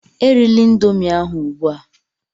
Erila Indomie ahụ ugbua!